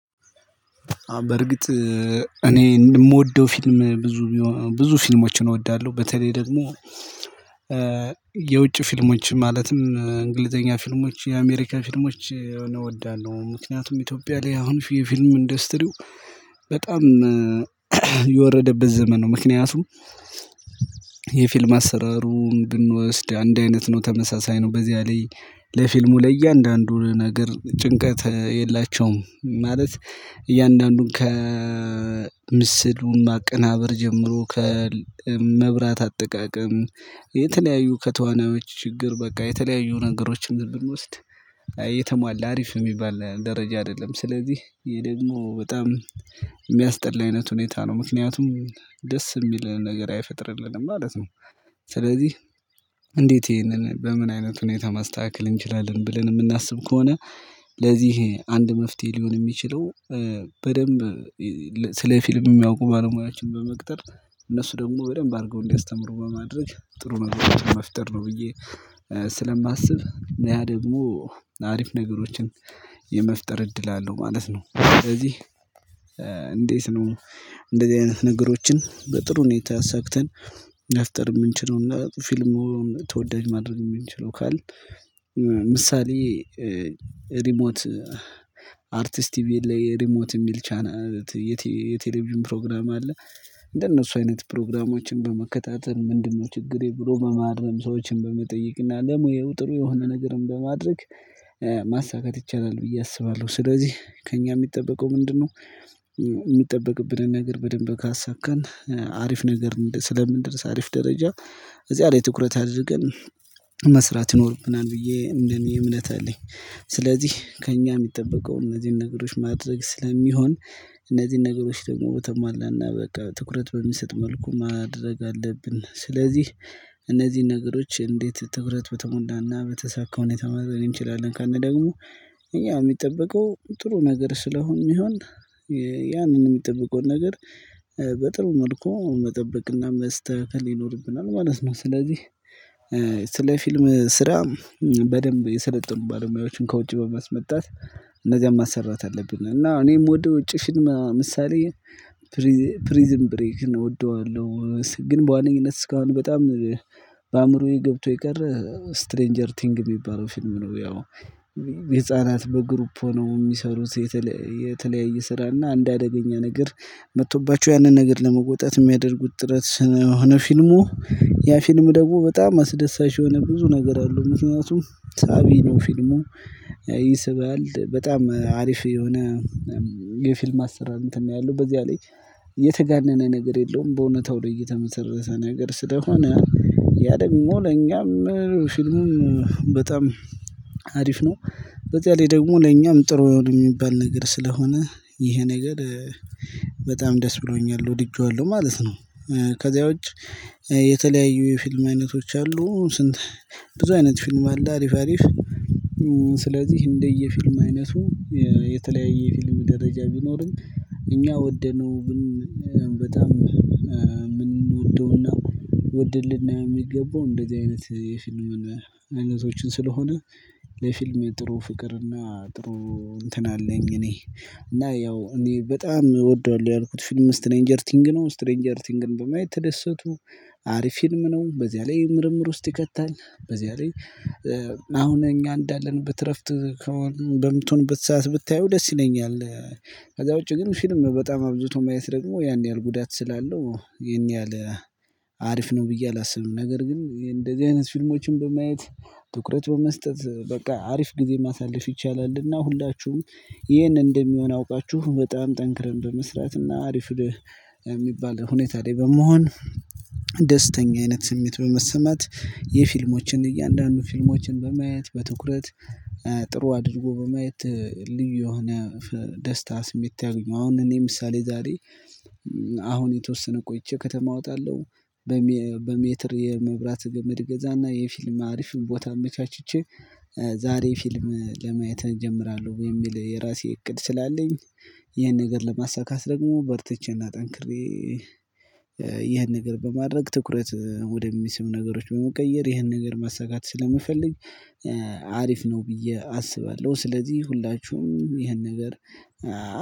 በእርግጥ እኔ የምወደው ፊልም ብዙ ብዙ ፊልሞችን እወዳለሁ በተለይ ደግሞ። የውጭ ፊልሞች ማለትም እንግሊዘኛ ፊልሞች የአሜሪካ ፊልሞች የሆነ ምክንያቱም ኢትዮጵያ ላይ አሁን የፊልም ኢንዱስትሪው በጣም የወረደበት ዘመን ነው። ምክንያቱም የፊልም አሰራሩን ብንወስድ አንድ አይነት ነው ተመሳሳይ ነው በዚያ ላይ ለፊልሙ ለእያንዳንዱ ነገር ጭንቀት የላቸውም ማለት እያንዳንዱን ከምስሉ ማቀናበር ጀምሮ ከመብራት አጠቃቀም። የተለያዩ ከተዋናዎች ችግር በቃ የተለያዩ ነገሮችን ዝም ብንወስድ እየተሟላ አሪፍ የሚባል ደረጃ አይደለም። ስለዚህ ይሄ ደግሞ በጣም የሚያስጠላ አይነት ሁኔታ ነው ምክንያቱም ደስ የሚል ነገር አይፈጥርልንም ማለት ነው። ስለዚህ እንዴት? ይሄንን በምን አይነት ሁኔታ ማስተካከል እንችላለን ብለን የምናስብ ከሆነ። ለዚህ አንድ መፍትሄ ሊሆን የሚችለው በደንብ ስለ ፊልም የሚያውቁ ባለ ሙያዎችን በመቅጠር እነሱ ደግሞ በደንብ አድርገው እንዲያስተምሩ በማድረግ ጥሩ ነገሮችን መፍጠር ነው። ብዬ ስለማስብ ነያ ደግሞ አሪፍ ነገሮችን የመፍጠር እድል አለው ማለት ነው። ስለዚህ እንዴት? ነው እንደዚህ አይነት ነገሮችን በጥሩ ሁኔታ ሰግተን መፍጥር የምንችለውና ፊልሙን ተወዳጅ ማድረግ የምንችለው ካልን። ምሳሌ ሪሞት አርቲስት ቲቪ ላይ ሪሞት የሚል ቻናል የቴሌቪዥን ፕሮግራም አለ። እንደነሱ አይነት ፕሮግራሞችን በመከታተል ምንድነው? ችግሬ ብሎ መማርም ሰዎችን በመጠየቅና ለሙያው ጥሩ የሆነ ነገርም በማድረግ ማሳካት ይቻላል ብዬ አስባለሁ። ስለዚህ ከእኛ የሚጠበቀው ምንድነው? የሚጠበቅብንን ነገር በደንብ ካሳካን አሪፍ ነገር ስለምንደርስ አሪፍ ደረጃ እዚያ ላይ ትኩረት አድርገን መስራት ይኖርብናል ብዬ እንደኔ እምነት አለኝ። ስለዚህ ከእኛ የሚጠበቀው እነዚህን ነገሮች ማድረግ ስለሚሆን እነዚህን ነገሮች ደግሞ በተሟላና በቃ ትኩረት በሚሰጥ መልኩ ማድረግ አለብን። ስለዚህ እነዚህን ነገሮች እንዴት? ትኩረት በተሞላና በተሳካ ሁኔታ መመልከት እንችላለን። ካልን ደግሞ እኛ የሚጠበቀው ጥሩ ነገር ስለሆንን ይሆን። ያንን የምንጠብቀው ነገር በጥሩ መልኩ መጠበቅና መስተካከል ይኖርብናል ማለት ነው። ስለዚህ ስለ ፊልም ስራ በደንብ የሰለጠኑ ባለሙያዎችን ከውጪ በማስመጣት እንደዚያም ማሰራት አለብን። እና እኔ ምወደው ውጪ ምሳሌ ፕሪዝን ብሬክ እወደዋለሁ። ግን በዋነኝነት እስካሁን በጣም በኣእምሮዬ ገብቶ የቀረ ስትሬንጀር ቲንግ የሚባለው ፊልም ነው። ያው ህፃናት በግሩፕ ሆኖ የሚሰሩት የተለያየ ስራ እና እንደ አደገኛ ነገር መጥቶባቸው ያንን ነገር ለመወጣት የሚያደርጉት ጥረት ስለሆነ ፊልሙ ያ ፊልም ደግሞ በጣም አስደሳች የሆነ ብዙ ነገር አለው። ምክንያቱም ሳቢ ነው። ፊልሙ ይስብል በጣም አሪፍ የሆነ የፊልም አሰራር እንትን ነው ያለው። በዚያ ላይ የተጋነነ ነገር የለውም። በእውነታው ላይ እየተመሰረተ ነገር ስለሆነ ያ ደግሞ ለኛም ፊልሙን በጣም አሪፍ ነው። በዚያ ላይ ደግሞ ለኛም ጥሩ የሚባል ነገር ስለሆነ ይሄ ነገር በጣም ደስ ብሎኛል ወድጄዋለሁ ማለት ነው። ከዚያ ውጭ የተለያዩ የፊልም አይነቶች አሉ። ስንት ብዙ አይነት ፊልም አለ። አሪፍ አሪፍ ስለዚህ እንደየ ፊልም አይነቱ የተለያየ ፊልም ደረጃ ቢኖርም እኛ ወደነው በጣም የምንወደውና ወደልን የሚገባው እንደዚህ ኣይነት የፊልም ኣይነቶችን ስለሆነ። የፊልም ጥሩ ፍቅርና ጥሩ እንትን አለኝ። እኔ እና ያው እኔ በጣም እወደዋለሁ ያልኩት ፊልም ስትሬንጀር ቲንግ ነው። ስትሬንጀር ቲንግን በማየት ተደሰቱ አሪፍ ፊልም ነው። በዚያ ላይ ምርምር ውስጥ ይከታል በዚያ ላይ አሁን እኛ እንዳለንበት እረፍት በምትሆንበት ሰዓት ብታየው ደስ ይለኛል። ከዛ ውጪ ግን ፊልም በጣም አብዝቶ ማየት ደግሞ ያን ያህል ጉዳት ስላለው ይሄን ያህል አሪፍ ነው ብዬ አላስብም። ነገር ግን እንደዚህ አይነት ፊልሞችን በማየት ትኩረት በመስጠት በቃ አሪፍ ጊዜ ማሳለፍ ይቻላልና። ሁላችሁም ይሄን እንደሚሆን አውቃችሁ በጣም ጠንክረን በመስራትና አሪፍ የሚባል ሁኔታ ላይ በመሆን ደስተኛ አይነት ስሜት በመሰማት የፊልሞችን እያንዳንዱ ፊልሞችን በማየት በትኩረት ጥሩ አድርጎ በማየት ልዩ የሆነ ደስታ ስሜት ታግኙ። አሁን እኔ ምሳሌ ዛሬ አሁን የተወሰነ ቆይቼ ከተማ እወጣለሁ። በሜትር የመብራት ግምድ ገዛና የፊልም አሪፍም ቦታ አመቻችቼ ዛሬ ፊልም ለማየት እጀምራለሁ። ወይ? የሚል የራሴ እቅድ ስላለኝ። ይህን ነገር ለማሳካት ደግሞ በርትቼና ጠንክሬ ይህን ነገር በማድረግ ትኩረት ወደሚስብ ነገሮች በመቀየር ይህን ነገር ማሳካት ስለምፈልግ። አሪፍ ነው ብዬ አስባለሁ። ስለዚህ ሁላችሁም ይሄን ነገር